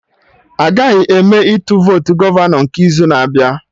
Agaghị eme Ịtụ votu gọvanọ nke izu na-abịa